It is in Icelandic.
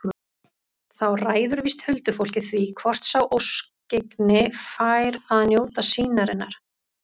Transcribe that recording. Þá ræður víst huldufólkið því hvort sá óskyggni fær að njóta sýnarinnar.